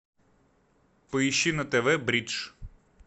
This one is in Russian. поищи на тв бридж